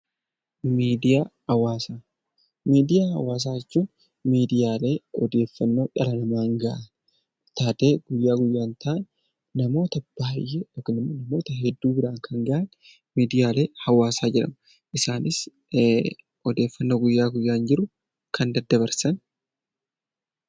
Miidiyaa Hawaasaa Miidiyaa Hawaasaa jechuun miidiyaalee odeeffannoo dhala namaan gahan, taatee guyyaa guyyaan ta'an, namoota baay'ee yookiin immoo namoota hedduu biraan gahan 'Miidiyaalee Hawaasaa' jedhamu. Isaanis odeffannoo guyyaa guyyaan jiru kan daddabarsan